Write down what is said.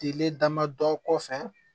Tile damadɔ kɔ fɛ